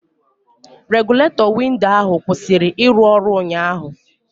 Regụletọ windo ahụ kwụsịrị ịrụ ọrụ ụnyaahụ